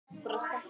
Brostir alltaf.